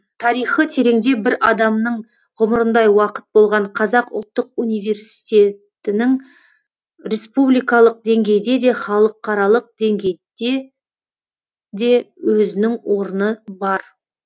тарихы тереңде бір адамның ғұмырындай уақыт болған қазақ ұлттық университетінің республикалық деңгейде де халықарлық деңгейде де өзінің орны бар